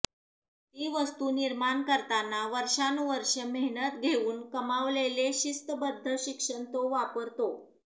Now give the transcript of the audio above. ती वस्तू निर्माण करताना वर्षानुवर्षे मेहनत घेऊन कमावलेले शिस्तबद्ध शिक्षण तो वापरतो